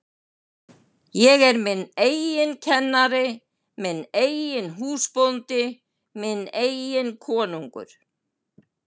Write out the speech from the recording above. Ég er minn eigin kennari, minn eigin húsbóndi, minn eigin konungur.